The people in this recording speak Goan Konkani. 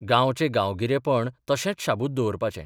गांवचें गांवगिरेपण तशेंच शाबूत दवरपाचें.